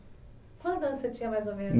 Quantos anos você tinha mais ou menos?